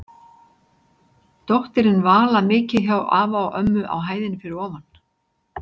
Dóttirin Vala mikið hjá afa og ömmu á hæðinni fyrir ofan.